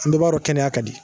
An bɛɛ b'a dɔn kɛnɛya ka di